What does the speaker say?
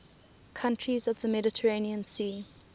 countries of the mediterranean sea